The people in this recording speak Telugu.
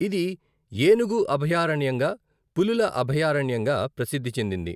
ఇది ఏనుగు అభయారణ్యంగా, పులుల అభయారణ్యంగా ప్రసిద్ధి చెందింది.